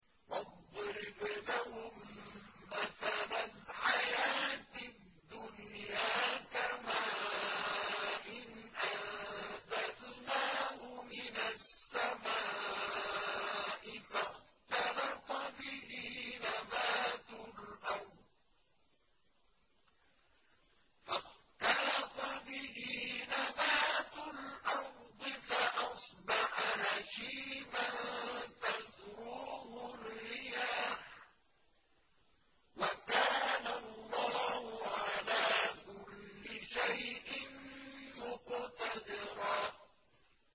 وَاضْرِبْ لَهُم مَّثَلَ الْحَيَاةِ الدُّنْيَا كَمَاءٍ أَنزَلْنَاهُ مِنَ السَّمَاءِ فَاخْتَلَطَ بِهِ نَبَاتُ الْأَرْضِ فَأَصْبَحَ هَشِيمًا تَذْرُوهُ الرِّيَاحُ ۗ وَكَانَ اللَّهُ عَلَىٰ كُلِّ شَيْءٍ مُّقْتَدِرًا